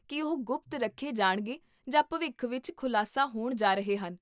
ਕੀ ਉਹ ਗੁਪਤ ਰੱਖੇ ਜਾਣਗੇ ਜਾਂ ਭਵਿੱਖ ਵਿੱਚ ਖੁਲਾਸਾ ਹੋਣ ਜਾ ਰਹੇ ਹਨ?